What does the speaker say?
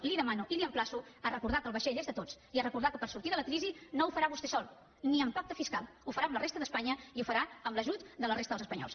li demano i l’emplaço a recordar que el vaixell és de tots i a recordar que per sortir de la crisi no ho farà vostè sol ni amb pacte fiscal ho farà amb la resta d’espanya i ho farà amb l’ajut de la resta dels espanyols